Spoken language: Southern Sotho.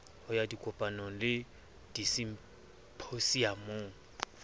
ho ya dikopanong le disimphosiamong